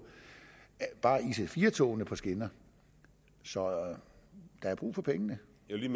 bare ic4 togene på skinner så der er brug for pengene